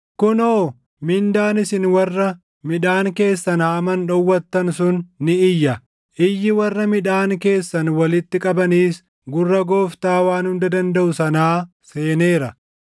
Kunoo, mindaan isin warra midhaan keessan haaman dhowwattan sun ni iyya. Iyyi warra midhaan keessan walitti qabaniis gurra Gooftaa Waan Hunda Dandaʼu sanaa seeneera.